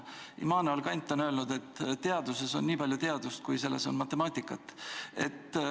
Immanuel Kant on öelnud, et teaduses on nii palju teadust, kui selles on matemaatikat.